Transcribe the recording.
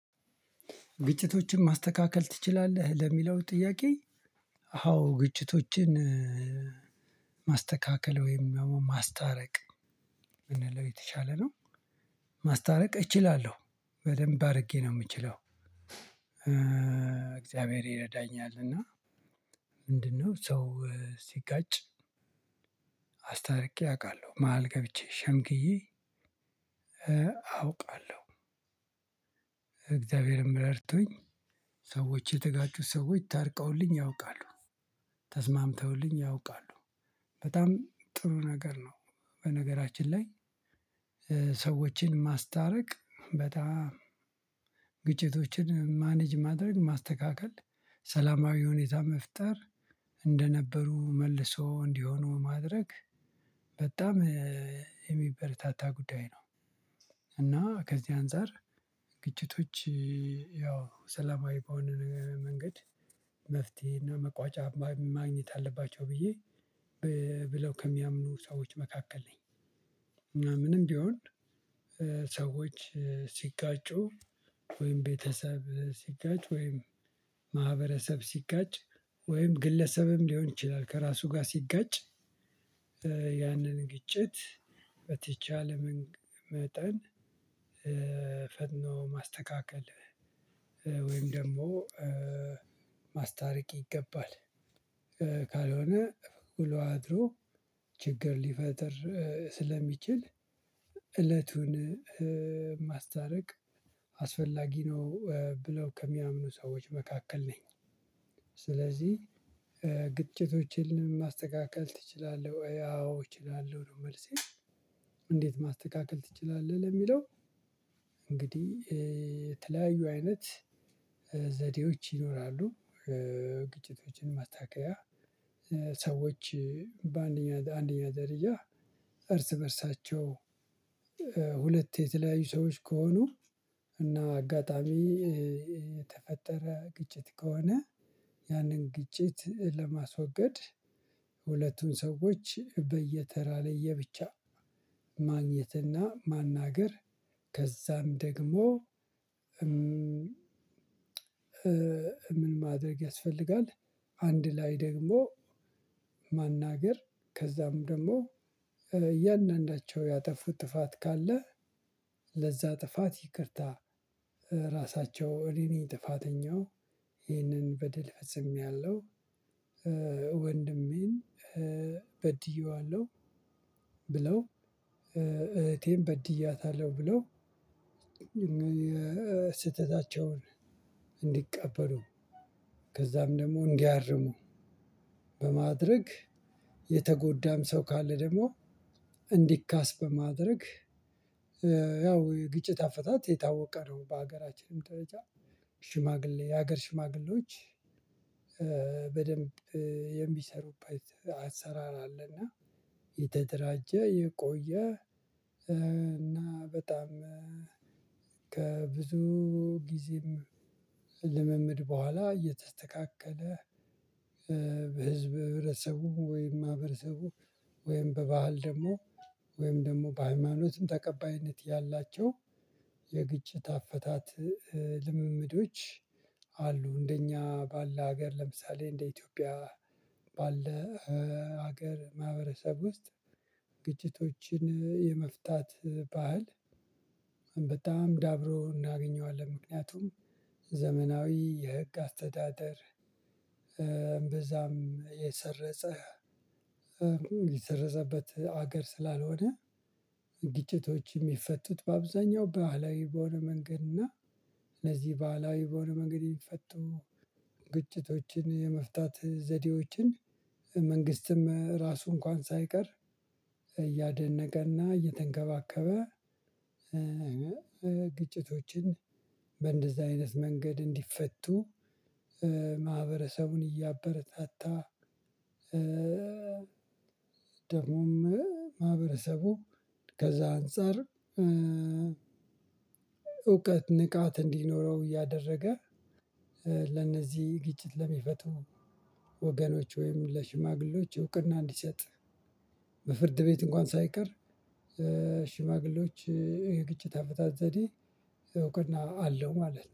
ግጭቶችን ማስተካከል ትችላለህ? ለሚለው ጥያቄ አዎ ግጭቶችን ማስተካከል ወይም ያው ማስታረቅ ብንለለው የተሻለ ነው። ማስታረቅ እችላለሁ በደንብ አድርጌ ነው የምችለው እግዚአብሔር ይረዳኛል እና ምንድነው ሰው ሲጋጭ አስታርቄ አውቃለሁ መሃል ገብቼ ሸምግዬ አውቃለሁ። እግዚአብሔርም ረድቶኝ ሰዎች የተጋጩት ሰዎች ታርቀውልኝ ያውቃሉ ተስማምተውልኝ ያውቃሉ በጣም ጥሩ ነገር ነው። በነገራችን ላይ ሰዎችን ማስታረቅ በጣም ግጭቶችን ማኔጅ ማድረግ ማስተካከል ሰላማዊ ሁኔታ መፍጠር እንደነበሩ መልሶ እንዲሆኑ ማድረግ በጣም የሚበረታታ ጉዳይ ነው። እና ከዚህ አንፃር ግጭቶች ያው ሰላማዊ በሆነ መንገድ መፍትሄ እና መቋጫ ማግኘት አለባቸው ብዬ ብለው ከሚያምኑ ሰዎች መካከል ነኝ። ምናምንም ቢሆን ሰዎች ሲጋጩ ወይም ቤተሰብ ሲጋጭ ወይም ማህበረሰብ ሲጋጭ ወይም ግለሰብም ሊሆን ይችላል ከራሱ ጋር ሲጋጭ ያንን ግጭት በተቻለ መጠን ፈጥኖ ማስተካከል ወይም ደግሞ ማስታረቅ ይገባል። ካልሆነ ውሎ አድሮ ችግር ሊፈጥር ስለሚችል እለቱን ማስታረቅ አስፈላጊ ነው ብለው ከሚያምኑ ሰዎች መካከል ነኝ። ስለዚህ ግጭቶችን ማስተካከል ትችላለህ ወይ? አዎ እችላለሁ ነው መልሴ እንዴት ማስተካከል ትችላለህ ለሚለው እንግዲህ የተለያዩ አይነት ዘዴዎች ይኖራሉ። ግጭቶችን ማስተካከያ ሰዎች በአንደኛ አንደኛ ደረጃ እርስ በእርሳቸው ሁለት የተለያዩ ሰዎች ከሆኑ እና አጋጣሚ የተፈጠረ ግጭት ከሆነ ያንን ግጭት ለማስወገድ ሁለቱን ሰዎች በየተራ ላይ የብቻ ማግኘትና ማናገር ከዛም ደግሞ ምን ማድረግ ያስፈልጋል? አንድ ላይ ደግሞ ማናገር ከዛም ደግሞ እያንዳንዳቸው ያጠፉት ጥፋት ካለ ለዛ ጥፋት ይቅርታ ራሳቸው እኔ ነኝ ጥፋተኛው ይህንን በድል ፈጽሜያለሁ። ወንድሜን በድዬዋለሁ ብለው እህቴን በድያታለሁ ብለው ስህተታቸውን እንዲቀበሉ ከዛም ደግሞ እንዲያርሙ በማድረግ የተጎዳም ሰው ካለ ደግሞ እንዲካስ በማድረግ። ያው ግጭት አፈታት የታወቀ ነው በሀገራችንም ደረጃ ሽማግሌ የሀገር ሽማግሌዎች በደንብ የሚሰሩበት አሰራር አለ። እና የተደራጀ የቆየ እና በጣም ከብዙ ጊዜም ልምምድ በኋላ እየተስተካከለ በህዝብ ህብረተሰቡ ወይም ማህበረሰቡ ወይም በባህል ደግሞ ውይም ደግሞ በሃይማኖት ተቀባይነት ያላቸው የግጭት አፈታት ልምምዶች አሉ። እንደኛ ባለ ሀገር ለምሳሌ እንደ ኢትዮጵያ ባለ ሀገር ማህበረሰብ ውስጥ ግጭቶችን የመፍታት ባህል በጣም ዳብሮ እናገኘዋለን። ምክንያቱም ዘመናዊ የህግ አስተዳደር እምበዛም የሰረጸ የሰረጽበት ሀገር ስላልሆነ ግጭቶች የሚፈቱት በአብዛኛው በባህላዊ በሆነ መንገድ እና ለዚህ ባህላዊ በሆነ መንገድ የሚፈቱ ግጭቶችን የመፍታት ዘዴዎችን መንግስትም ራሱ እንኳን ሳይቀር እያደነቀና እየተንከባከበ። ግጭቶችን በእንደዚህ አይነት መንገድ እንዲፈቱ ማህበረሰቡን እያበረታታ ደግሞ ደግሞም ማህበረሰቡ ከዛ አንፃር እውቀት ንቃት እንዲኖረው እያደረገ። ለነዚህ ግጭት ለሚፈቱ ወገኖች ወይም ለሽማግሌዎች እውቅና እንዲሰጥ በፍርድ ቤት እንኳን ሳይቀር ሽማግሌዎች የግጭት አፈታት ዘዴ እውቅና አለው ማለት ነው።